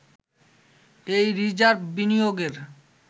এই রিজার্ভ বিনিয়োগের